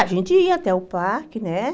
A gente ia até o parque, né?